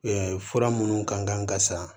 fura minnu kan ka san